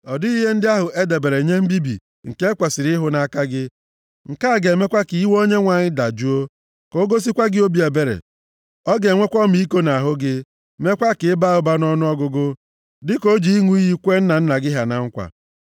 Ọ dịghị ihe ndị ahụ e debere nye mbibi nke e kwesiri ịhụ nʼaka gị. Nke a ga-emekwa ka iwe ọkụ Onyenwe anyị dajụọ, ka o gosikwa gị obi ebere. Ọ ga-enwekwa ọmịiko nʼahụ gị, meekwa ka ị baa ụba nʼọnụọgụgụ, dịka o ji ịṅụ iyi kwee nna nna gị ha na nkwa.